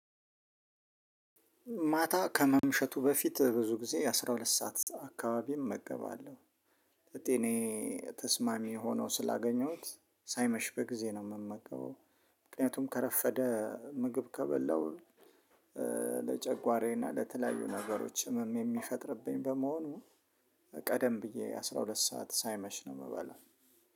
ማታ ከመምሸቱ በፊት ብዙ ጊዜ አስራ ሁለት ሰዓት አካባቢም እመገባለሁ። ለጤናዬ ተስማሚ ሆኖ ስላገኘሁት ሳይመሽ በጊዜ ነው የምመገበው። ምክንያቱም ከረፈደ ምግብ ከበላው ለጨጓራዬ እና ለተለያዩ ነገሮች ህመም የሚፈጥርብኝ በመሆኑ። ቀደም ብዬ አስራ ሁለት ሰዓት ሳይመሽ ነው የምበለው።